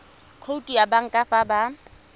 khoutu ya banka fa ba